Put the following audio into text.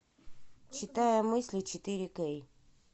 читая мысли четыре кей